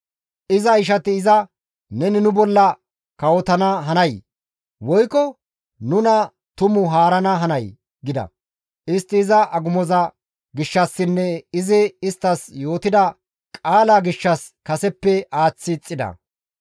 Iza ishati iza, «Neni nu bolla kawotana hanay? Woykko nuna tumu haarana hanay?» gida; istti iza agumoza gishshassinne izi isttas yootida qaalaa gishshas kaseppe iza aaththi ixxida.